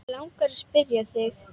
Mig langar að spyrja þig.